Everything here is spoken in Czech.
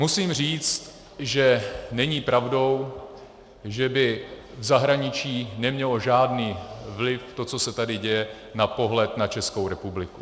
Musím říct, že není pravdou, že by v zahraničí nemělo žádný vliv to, co se tady děje, na pohled na Českou republiku.